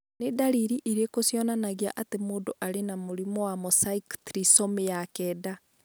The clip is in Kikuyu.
Nĩ ndariri irĩkũ cionanagia atĩ mũndũ arĩ na mũrimũ wa mosaic trisomy 9?